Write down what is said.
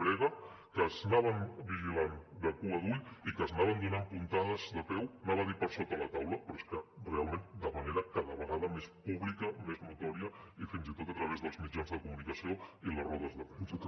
brega que s’anaven vigilant de cua d’ull i que s’anaven donant puntades de peu anava a dir per sota la taula però és que realment de manera cada vegada més pública més notòria i fins i tot a través dels mitjans de comunicació i les rodes de premsa